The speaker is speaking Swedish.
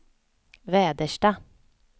Väderstad